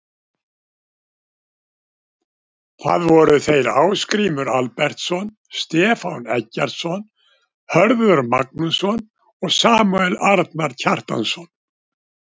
Það voru þeir Ásgrímur Albertsson, Stefán Eggertsson, Hörður Magnússon og Samúel Arnar Kjartansson.